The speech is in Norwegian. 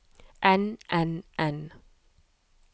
enn enn enn